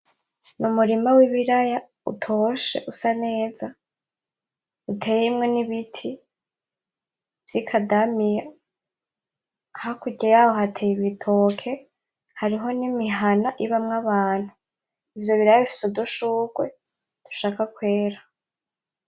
Umurima w'ibiraya utoshye, usa neza, uteyemwo ibiti vy'ikadamiya. Hakurya yaho, hateye ibitoke hariho n'imihana ibamwo abantu. Ivyo biraya bifise udushurwe dushaka kwera.